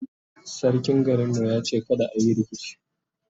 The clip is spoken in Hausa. sarkin garin mu ya ce kada ayi rikici